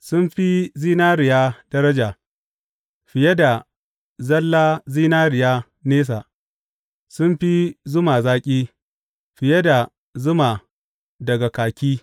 Sun fi zinariya daraja, fiye da zalla zinariya nesa; sun fi zuma zaƙi fiye da zuma daga kaki.